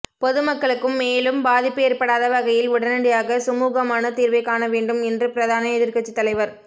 பொதுமக்களுக்கும் மேலும் பாதிப்பு ஏற்படாத வகையில் உடனடியாக சுமூகமான தீர்வை காண வேண்டும் என்று பிரதான எதிர்கட்சித் தலைவர்